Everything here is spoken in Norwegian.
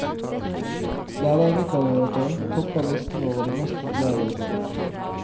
Lærervikariater topper listen over de mest populære jobbene.